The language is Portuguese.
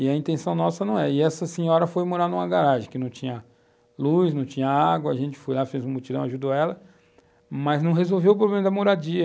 E a intenção nossa não é. E essa senhora foi morar numa garagem que não tinha luz, não tinha água, a gente foi lá, fez um mutirão, ajudou ela, mas não resolveu o problema da moradia.